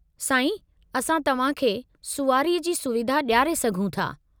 साईं, असां तव्हां खे सुवारीअ जी सुविधा ॾियारे सघूं था।